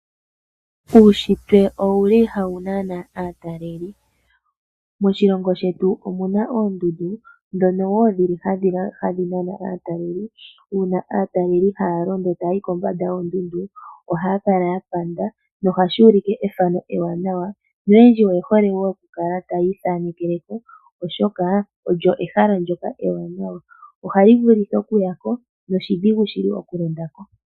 Uunshitwe owuli hawu nana aataleli. Moshilongo shetu omu na oondundu ndhono wo dhi li hadhi nana aataleli uuna aataleli haya londo etaya yi kombanda yoondundu, ohaya kala ya panda nohashi ulike ethano ewanawa noyendji oye hole wo oku kala taya ithaanekele ko oshoka olyo ehala ndoka ewanawa nohali vulu okuyiwako noshidhigu shili oku ya ko.